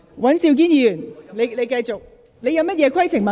許智峯議員，你有甚麼規程問題？